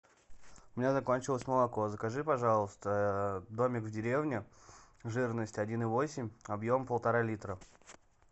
у меня закончилось молоко закажи пожалуйста домик в деревне жирность один и восемь объем полтора литра